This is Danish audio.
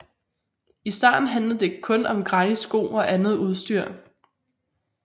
I starten handlede det kun om gratis sko og andet udstyr